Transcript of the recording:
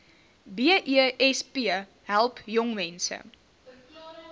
besp help jongmense